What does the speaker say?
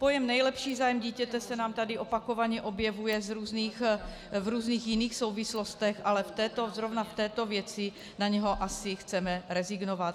Pojem nejlepší zájem dítěte se nám tady opakovaně objevuje v různých jiných souvislostech, ale v této, zrovna v této věci na něho asi chceme rezignovat.